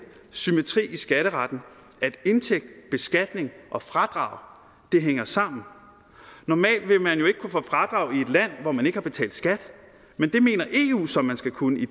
symmetri i skatteretten at indtægt beskatning og fradrag hænger sammen normalt vil man jo ikke kunne få fradrag i et land hvor man ikke har betalt skat men det mener eu så man skal kunne i